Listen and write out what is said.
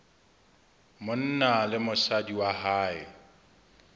monna le mosadi wa hae